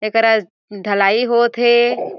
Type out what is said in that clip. एकरा आ ढलाई होत हे।